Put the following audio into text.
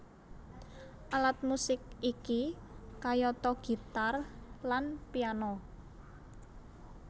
Alat musik iki kayata gitar lan piano